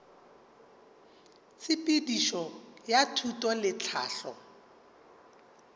tshepedišo ya thuto le tlhahlo